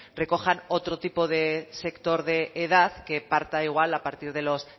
recojan otro tipo de sector de edad que parta igual a partir los